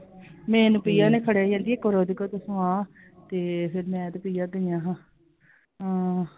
main ਪੀਆ ਨੇ ਫ਼ੜ੍ਹਿਆ ਤੇ ਫੇਰ ਮੈਂ ਤੇ ਪੀਆ ਗਈਆਂ ਹਾਂ, ਆਂ I